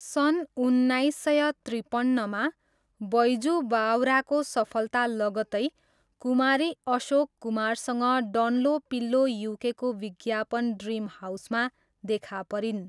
सन् उन्नाइस सय त्रिपन्नमा, बैजू बावराको सफलता लगत्तै, कुमारी अशोक कुमारसँग डन्लोपिल्लो युकेको विज्ञापन ड्रिम हाउसमा देखा परिन्।